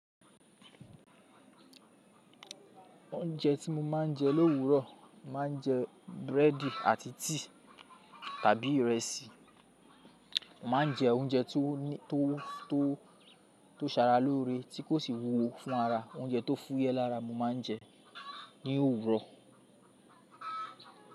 Oúnjẹ tí mo máa ń jẹ l’òwúrọ̀, mo máa ń jẹ búrẹ́dì àti tíì, tàbí ìrẹsì. Mo ma n je oúnjẹ tó, tó ni, tó, tó Ṣàrà lóore tí kò sì wúwo fún ara. Oúnjẹ tó fúyẹ́ lára mo ma n je, ní òwúrọ̀